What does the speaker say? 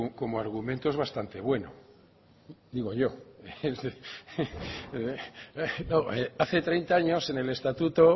como argumento es bastante bueno digo yo hace treinta años en el estatuto